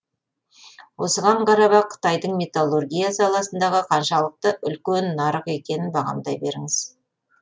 осыған қарап ақ қытайдың металлургия саласындағы қаншалықты үлкен нарық екенін бағамдай беріңіз